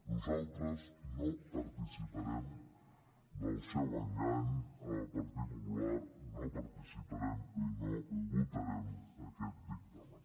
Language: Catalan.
nosaltres no participarem del seu engany el partit popular no participarem i no votarem aquest dictamen